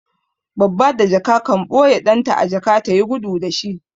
Babba da jaka kan ɓoye ɗan ta a jaka ta yi gudu da shi.